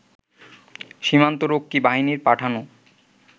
সীমান্তরক্ষী বাহিনীর পাঠানো